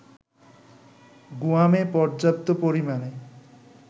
গুয়ামে পর্যাপ্ত পরিমাণে